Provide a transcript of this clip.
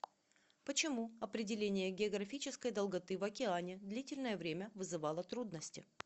почему определение географической долготы в океане длительное время вызывало трудности